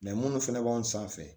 minnu fana b'an sanfɛ